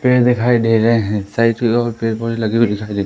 पेड़ दिखाई दे रहे है साइड और पेड़ पौधे लगे हुए दिखाई--